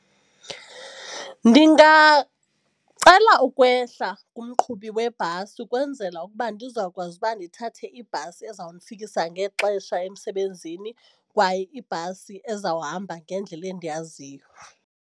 Ndingacela ukwehla kumqhubi webhasi ukwenzela ukuba ndizawukwazi uba ndithathe ibhasi eza kundifikisa ngexesha emsebenzini kwaye ibhasi ezawuhamba ngendlela endiyaziyo.